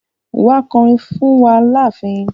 Wa kọ'rin fún wa láàfin.